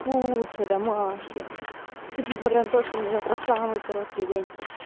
куча домашки хоть несмотря на то что мне завтра самый короткий день